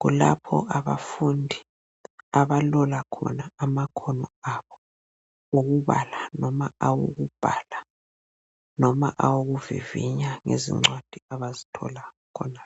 kulapho abafundi abalola khona amakhono abo owokubala noma owokubhala loba awokuvivinya ngezincwadi abazi thola khona.